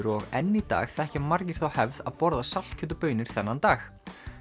og enn í dag þekkja margir þá hefð að borða saltkjöt og baunir þennan dag